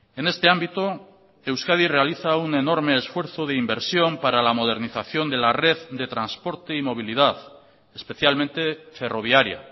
en este ámbito euskadi realiza un enorme esfuerzo de inversión para la modernización de la red de transporte y movilidad especialmente ferroviaria